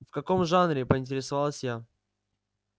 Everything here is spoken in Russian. в каком жанре поинтересовалась я